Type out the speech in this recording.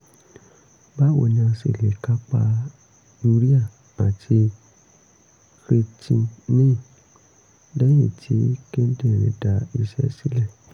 báwo ni a ṣe lè kápá urea àti creatinine lẹ́yìn tí kíndìnrín da iṣẹ́ sílẹ̀?